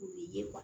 Ye